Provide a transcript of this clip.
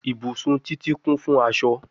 Ibusun Titi kun fun aṣọ